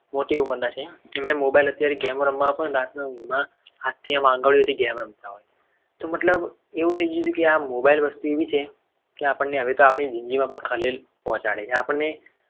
મોટી ઉંમરના છે. કે mobile અત્યારે game રમવા આપોને તો રાતના હાથી આમ આંગળીઓથી ગેમ રમતા હોય તો મતલબ એવું થઈ જાય. કે આ mobile વસ્તુ એવી છે. કે આપણને આપણી જિંદગીમાં પણ ખલેલ પહોંચાડે છે. આપણી